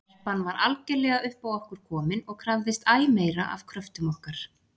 Telpan var algerlega upp á okkur komin og krafðist æ meira af kröftum okkar.